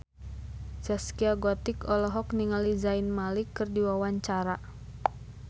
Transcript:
Zaskia Gotik olohok ningali Zayn Malik keur diwawancara